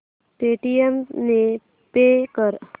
Paytm ने pay कर